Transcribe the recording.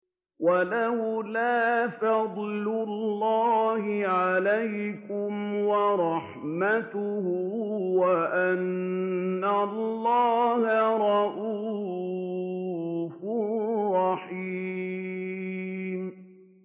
وَلَوْلَا فَضْلُ اللَّهِ عَلَيْكُمْ وَرَحْمَتُهُ وَأَنَّ اللَّهَ رَءُوفٌ رَّحِيمٌ